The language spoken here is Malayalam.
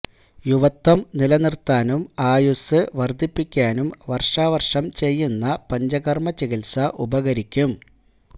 യുവത്വം നിലനിർത്താനും ആയുസ്സ് വർധിപ്പിക്കാനും വർഷാവർഷം ചെയ്യുന്ന പഞ്ചകർമ ചികിത്സ ഉപകരിക്കും